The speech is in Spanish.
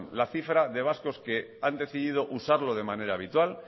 la cifra que han decidido usarlo de manera habitual